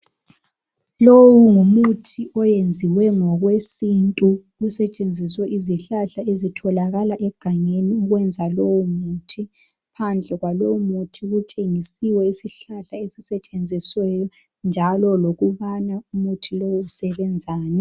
lowu ngumuthi oyenzwe ngowesintu kusetshenziswe izihlahla ezitholakala egangeni ukuyenza lowo muthi ngaphandle kwalowo muthi kutshengiselwe isihlahla esisetshenzisiweyo ukuyenza umuthi lo lokuthi umuthi lowo usebenzani